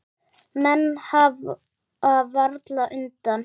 Menn hafa varla undan.